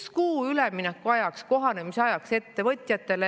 Üks kuu üleminekuajaks, kohanemisajaks ettevõtjatele.